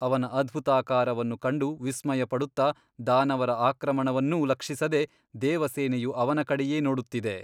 ಅವನ ಅದ್ಭುತಾಕಾರವನ್ನು ಕಂಡು ವಿಸ್ಮಯಪಡುತ್ತ ದಾನವರ ಆಕ್ರಮಣವನ್ನೂ ಲಕ್ಷಿಸದೆ ದೇವಸೇನೆಯು ಅವನ ಕಡೆಯೇ ನೋಡುತ್ತಿದೆ.